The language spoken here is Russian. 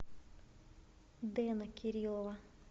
дэна кириллова